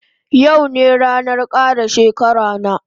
Yau ne ranan kara shekara na